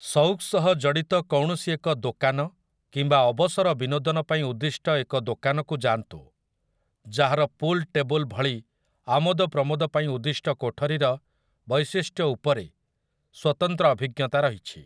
ସଉକ୍ ସହ ଜଡ଼ିତ କୌଣସି ଏକ ଦୋକାନ କିମ୍ବା ଅବସର ବିନୋଦନ ପାଇଁ ଉଦ୍ଦିଷ୍ଟ ଏକ ଦୋକାନକୁ ଯାଆନ୍ତୁ, ଯାହାର ପୁଲ୍ ଟେବୁଲ୍‌ ଭଳି ଆମୋଦପ୍ରମୋଦ ପାଇଁ ଉଦ୍ଦିଷ୍ଟ କୋଠରୀର ବୈଶିଷ୍ଟ୍ୟ ଉପରେ ସ୍ୱତନ୍ତ୍ର ଅଭିଜ୍ଞତା ରହିଛି ।